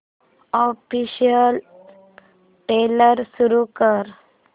official trailer सुरू कर